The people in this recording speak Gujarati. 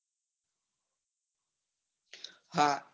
હા